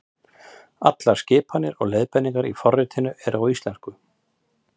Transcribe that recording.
Allar skipanir og leiðbeiningar í forritinu eru á íslensku.